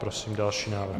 Prosím další návrh.